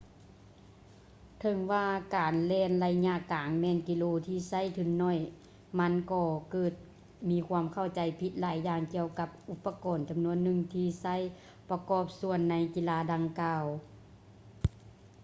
ເຖິງວ່າການແລ່ນໄລຍະກາງແມ່ນກິລາທີ່ໃຊ້ທຶນໜ້ອຍ ມັນກໍເກີດມີຄວາມເຂົ້າໃຈຜິດຫຼາຍຢ່າງກ່ຽວກັບອຸປະກອນຈຳນວນໜຶ່ງທີ່ໃຊ້ປະກອບສ່ວນໃນກິລາດັ່ງກ່າວ